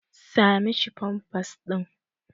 Sa mishi pampas ɗin.